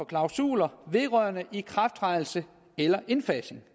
klausuler vedrørende ikrafttrædelse eller indfasning